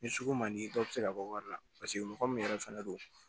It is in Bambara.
Ni sugu man di dɔw bɛ se ka bɔ wari la paseke mɔgɔ min yɛrɛ fɛnɛ don